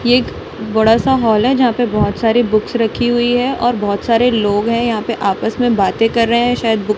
ये एक बड़ा सा हॉल है जहां पे बहोत सारी बुक्स रखी हुई है और बहोत सारे लोग हैं यहां पे आपस में बातें कर रहे हैं शायद बुक --